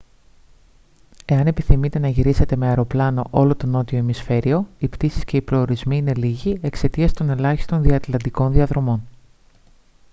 εάν επιθυμείτε να γυρίσετε με αεροπλάνο όλο το νότιο ημισφαίριο οι πτήσεις και οι προορισμοί είναι λίγοι εξαιτίας των ελάχιστων διατλαντικών διαδρομών